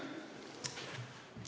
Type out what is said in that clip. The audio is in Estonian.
Suur aitäh!